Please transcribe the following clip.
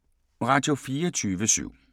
Radio24syv